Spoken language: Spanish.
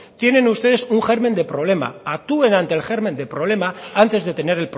tienen ustedes un germen de problema actúen ante el germen de problema antes de tener